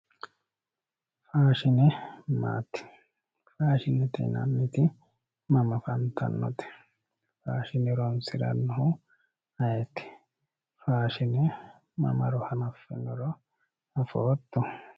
faashine maati? faashinete yinanniti mama afantannote? faashine horonsirannohu ayeeti? tini mamaro hanaffinoro afootto?